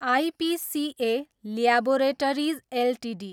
IPCA laboratories Ltd